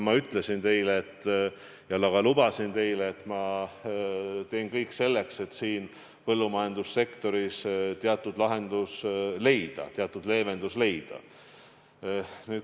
Ma ütlesin ja ka lubasin teile: teen kõik selleks, et põllumajandussektoris teatud lahendus ja leevendus leida.